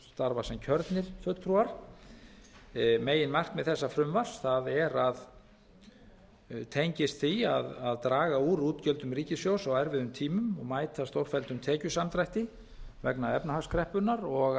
starfa sem kjörnir fulltrúar meginmarkmið frumvarps þessa er að eða tengist því að draga úr útgjöldum ríkissjóðs á á erfiðum tímum og mæta stórfelldum tekjusamdrætti vegna efnahagskreppunnar og